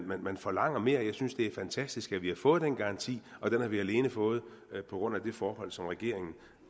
man forlanger mere jeg synes det er fantastisk at vi har fået den garanti og den har vi alene fået på grund af det forhold som regeringen